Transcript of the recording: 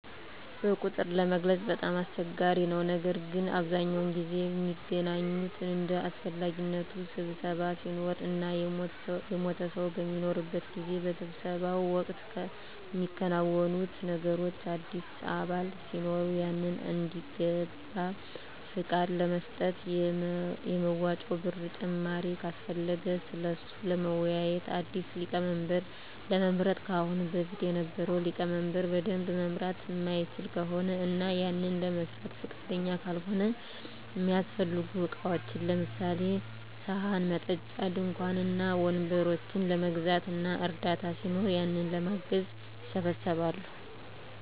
በቁጥር ለመግለፅ በጣም አስቸጋሪ ነው ነገር ግን በአብዛኛው ጊዜ ሚገናኙት እንደ አሰፈላጊነቱ ስብሰባ ሲኖር እና የሞተ ሰው በሚኖርበት ጊዜ። በስብሰባው ወቅት ሚከናወኑት ነገሮች አዲስ አባል ሲኖር ያንን እንዲገባ ፍቃድ ለመስጠት፣ የመዋጮ ብር ጭማሪ ካሰፈለገ ስለሱ ለመወያዬት፣ አዲስ ሊቀመንበር ለመምረጥ ከአሁን በፊት የነበረው ሊቀመንበር በደንብ መምራት ማይችል ከሆነ እና ያንን ለመስራት ፍቃደኛ ካልሆነ፣ እሚያሰፈልጉ እቃዎችን ለምሳሌ፦ ሰሀን፣ መጠጫ፣ ድንኳን እና ወንበሮችን ለመግዛት እና እርዳታ ሲኖር ያንን ለማገዝ ይሰባሰባሉ።